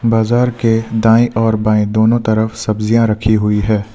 बाजार के दाएं और बाएं दोनों तरफ सब्जियां रखी हुई है।